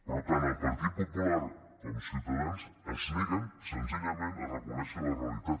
però tant el partit popular com ciutadans es neguen senzillament a reconèixer la realitat